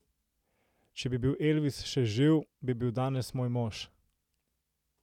Če bi bil Elvis še živ, bi bil danes moj mož!